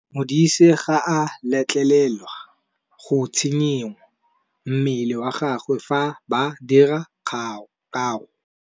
Modise ga a letlelelwa go tshikinya mmele wa gagwe fa ba dira karô.